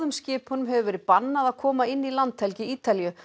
skipinu hefur verið bannað að koma inn í landhelgi Ítalíu